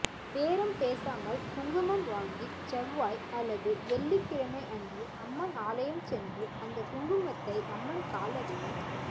பேரம் பேசாமல் குங்குமம் வாங்கி செவ்வாய் அல்லது வெள்ளிக்கிழமை அன்று அம்மன் ஆலயம் சென்று அந்தக் குங்குமத்தை அம்மன் காலடியில்